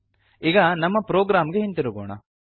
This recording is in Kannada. ಈಗ ನಮ್ಮ ಪ್ರೋಗ್ರಾಮ್ ಗೆ ಹಿಂತಿರುಗೋಣ